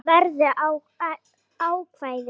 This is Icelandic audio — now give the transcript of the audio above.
Ætla verður að ákvæði